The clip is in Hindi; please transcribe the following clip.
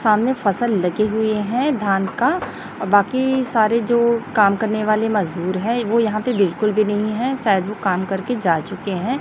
सामने फसल लगी हुई है धान का और बाकी सारे जो काम करने वाले मजदूर है वो यहां पे बिल्कुल भी नहीं है सायद वो काम करके जा चुके है।